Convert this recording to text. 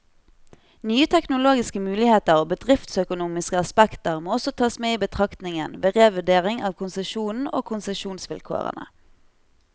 Nye teknologiske muligheter og bedriftsøkonomiske aspekter må også tas med i betraktningen, ved revurdering av konsesjonen og konsesjonsvilkårene.